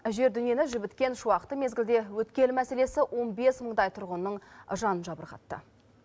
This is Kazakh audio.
жер дүниені жібіткен шуақты мезгілде өткел мәселесі он бес мыңдай тұрғынның жанын жабырқатты